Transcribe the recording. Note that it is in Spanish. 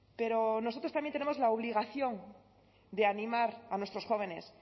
pero nosotros también tenemos la obligación de animar a nuestros jóvenes